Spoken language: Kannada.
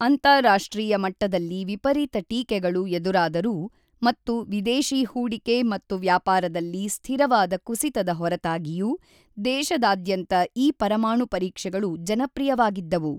ಅಂತಾರಾಷ್ಟ್ರೀಯ ಮಟ್ಟದಲ್ಲಿ ವಿಪರೀತ ಟೀಕೆಗಳು ಎದುರಾದರೂ ಮತ್ತು ವಿದೇಶಿ ಹೂಡಿಕೆ ಮತ್ತು ವ್ಯಾಪಾರದಲ್ಲಿ ಸ್ಥಿರವಾದ ಕುಸಿತದ ಹೊರತಾಗಿಯೂ, ದೇಶದಾದ್ಯಂತ ಈ ಪರಮಾಣು ಪರೀಕ್ಷೆಗಳು ಜನಪ್ರಿಯವಾಗಿದ್ದವು.